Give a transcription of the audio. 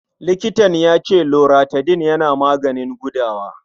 Likitan ya ce Loratadin yana maganin gudawa.